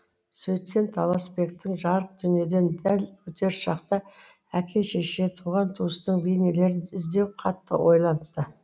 сөйткен таласбектің жарық дүниеден дәл өтер шақта әке шеше туған туыстың бейнелерін іздеуі қатты ойлантты